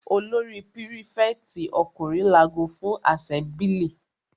Olórí prífẹ̀tì ọkùnrin lago fún àsẹ́mblì.